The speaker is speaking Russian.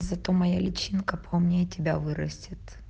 зато моя личинка поумнее тебя вырастет